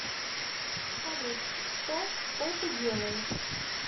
салют что что ты делаешь